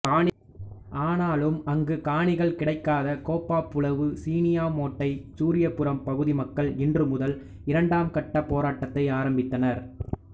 ஆனாலும் அங்கு காணிகள் கிடைக்காத கேப்பாப்புலவு சீனியாமாேட்டை சூரியபுரம் பகுதி மக்கள் இன்று முதல் இரண்டாம் கட்ட போராட்டத்தை ஆரம்பித்தனர்